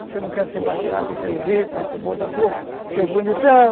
Você não quer ser mais fraco, você é o rico, você é o bom da boca, você é o bonitão.